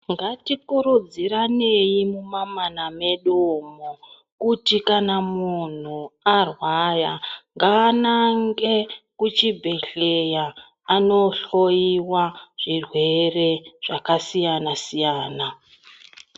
Ngatikurudzirane mamamana medu umo kuti kana munhu arwaya nganange kuchibhehleya anohloiwa zvirwere zvakasiyana siyana.